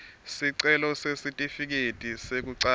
sicelo sesitifiketi sekucala